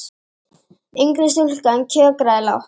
Yngri stúlkan kjökraði lágt.